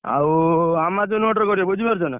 ଆଉ Amazon ରୁ order କରିବ ବୁଝିପାରୁଛ ନା?